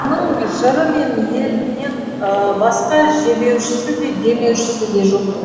оның жыры мен елінен басқа жебеушісі де демеушісі де жоқ